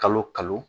Kalo kalo